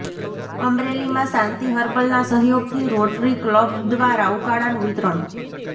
અમરેલીમાં શાંતિ હર્બલનાં સહયોગથી રોટરી કલબ દ્વારા ઉકાળાનું વિતરણ